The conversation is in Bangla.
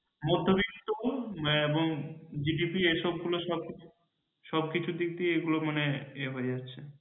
মধ্যবিত্ত এবং GDP এসব গুলো সব কিছু দিক দিয়ে এগুলোকে মানে এ হয়ে যাচ্ছে।